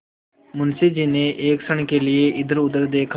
मुंशी जी ने एक क्षण के लिए इधरउधर देखा